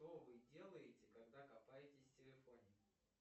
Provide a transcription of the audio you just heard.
что вы делаете когда копаетесь в телефоне